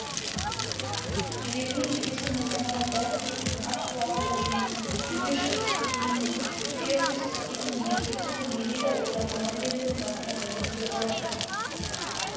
жіберген жебесі нысанаға дәл тиетін ат құлағында ойнайтын күйеуге шыққысы келмейтін фергюс әкесінің ерке қызы мерида ойламаған жерден басына бәле тілеп алады